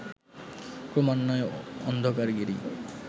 ক্রমান্বয়ে অন্ধকার গিরি